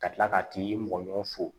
Ka tila ka t'i mɔgɔ ɲɔ fo